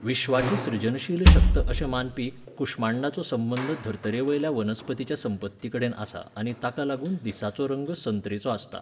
विश्वाची सृजनशील शक्त अशें मानपी कुश्मांडाचो संबंद धर्तरेवयल्या वनस्पतीच्या संपत्तीकडेन आसा आनी ताका लागून दिसाचो रंग संत्रेचो आसता.